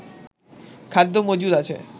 খাদ্য মজুদ আছে